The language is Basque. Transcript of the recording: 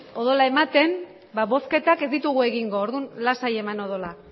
odola ematen bozketak ez ditugu egingo orduan lasai eman odola